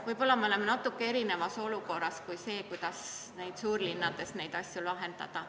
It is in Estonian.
Võib-olla me oleme natuke erinevas olukorras kui suurlinnades, kus tuleb teisiti neid asju lahendada.